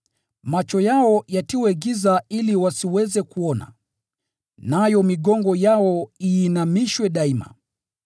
Macho yao yatiwe giza ili wasiweze kuona, nayo migongo yao iinamishwe daima.”